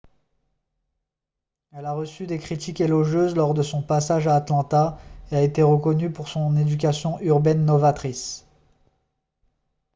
elle a reçu des critiques élogieuses lors de son passage à atlanta et a été reconnue pour son éducation urbaine novatrice